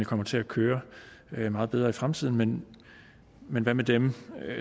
kommer til at køre meget bedre i fremtiden men men hvad med dem